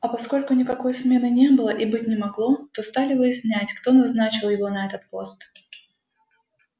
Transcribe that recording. а поскольку никакой смены не было и быть не могло то стали выяснять кто назначил его на этот пост